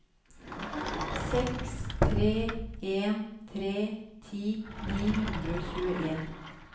seks tre en tre ti ni hundre og tjueen